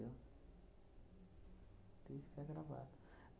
Tem que ficar gravado.